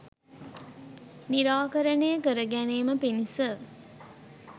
නිරාකරණය කරගැනීම පිණිස